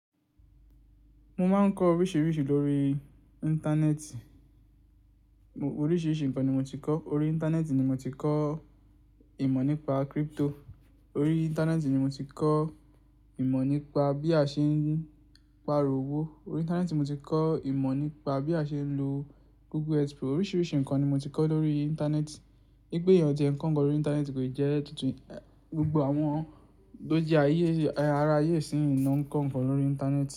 Mo máa ń kọ́ oríṣiríṣi lórí Íńtánẹ́ẹ̀tì. Oríṣiríṣi ǹkan ni mo ti kọ́. Orí Íńtánẹ́ẹ̀tì ni mo ti kọ́ ìmọ̀ nípa crypto. Orí Íńtánẹ́ẹ̀tì ni mo ti kọ́ ìmọ̀ nípa bí a ṣe ń pa ìròwó. Orí Íńtánẹ́ẹ̀tì mo ti kọ́ ìmọ̀ nípa bí a ṣe ń lo Google Expo. Oríṣiríṣi ǹkan ni mo ti kọ́ lórí Íńtánẹ́ẹ̀tì. Nígbẹ̀yẹn ọtí ẹ̀ ń kọ́ ǹkan lórí Íńtánẹ́ẹ̀tì kò le jẹ́ tuntun. Ẹ̀, gbogbo àwọn tó jẹ́ ayé, ará ayé sì ń kọ́ ǹkan lórí Íńtánẹ́ẹ̀tì.